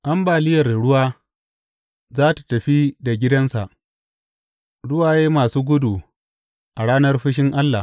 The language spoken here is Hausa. Ambaliyar ruwa za tă tafi da gidansa, ruwaye masu gudu a ranar fushin Allah.